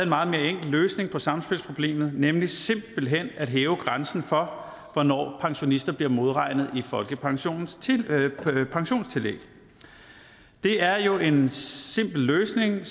meget mere enkel løsning på samspilsproblemet nemlig simpelt hen ved at hæve grænsen for hvornår pensionister bliver modregnet i folkepensionens pensionstillæg det er jo en simpel løsning